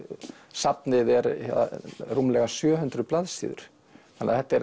safnið er rúmlega sjö hundruð blaðsíður þannig að þetta er